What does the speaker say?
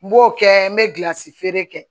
N b'o kɛ n bɛ gilansi feere kɛ